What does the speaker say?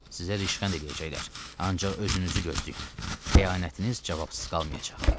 Sizə rüsvay eləyəcəklər, ancaq özünüzü gözləyin, xəyanətiniz cavabsız qalmayacaq.